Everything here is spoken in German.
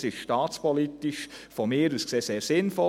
Dies ist aus meiner Sicht staatspolitisch sehr sinnvoll.